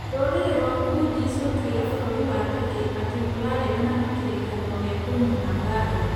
Rũrĩrĩ rwa Kurds gũtuĩra bũrũri wa Turkey atĩ nĩ ũraregana na kĩrĩkanĩro gĩa kũniina mbaara